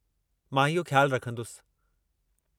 मां इहो ख़्यालु रखंदुसि।